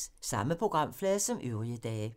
Samme programflade som øvrige dage